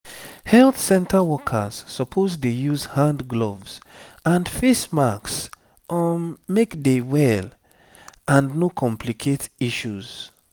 health center workers suppose dey use hand gloves and face masks um make dey well and no complicate issues